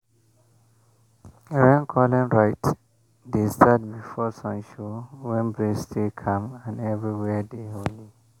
rain-calling rite dey start before sun show when breeze still calm and everywhere dey holy.